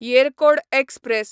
Yercaud express